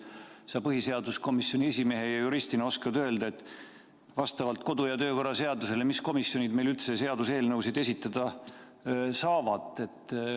Kas sa põhiseaduskomisjoni esimehe ja juristina oskad öelda, mis komisjonid meil vastavalt kodu- ja töökorra seadusele üldse seaduseelnõusid esitada saavad?